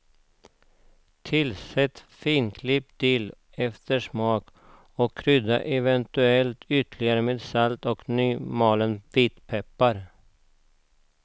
Tillsätt finklippt dill efter smak och krydda eventuellt ytterligare med salt och nymalen vitpeppar.